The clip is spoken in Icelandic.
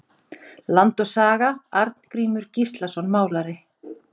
Land og saga- Arngrímur Gíslason málari.